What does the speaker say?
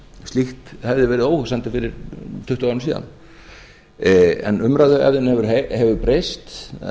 slíkt hefði verið óhugsandi fyrir tuttugu árum síðan en umræðuhefðin hefur breyst